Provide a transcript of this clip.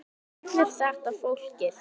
Þá verður þetta flókið.